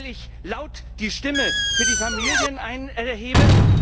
Weil ich laut die Stimme für die Familien erhebe?